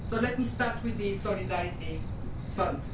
Let me start with the Solidarity Fund.